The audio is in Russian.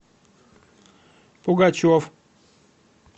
пугачев